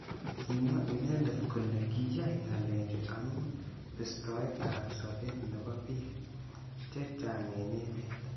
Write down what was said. Kimwa inendet kole kiyai ngalechu amu bistoet ab sabet nebo bik. chechang eng emet.